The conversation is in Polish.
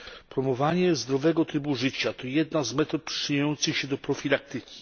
Promowanie zdrowego trybu życia to jedna z metod przyczyniających się do profilaktyki.